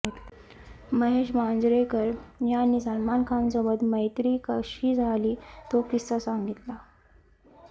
महेश मांजरेकर यांनी सलमान खानसोबत मैत्री कशी झाली तो किस्सा सांगितला